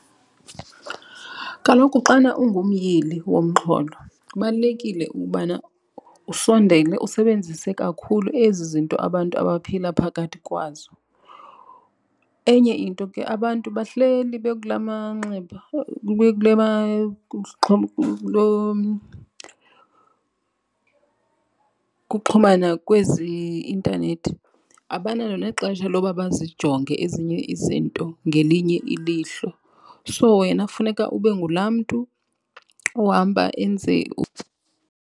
Kaloku xana ungumyili womxholo kubalulekile ukubana usondele usebenzise kakhulu ezi zinto abantu abaphila phakathi kwazo. Enye into ke abantu bahleli bekula manxeba kuxhumana kwezi i-intanethi. Abanalo nexesha loba bazijonge ezinye izinto ngelinye ilihlo. So, wena funeka ube ngulaa mntu ohamba enze .